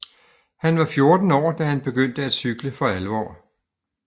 Han var 14 år da han begyndte at cykle for alvor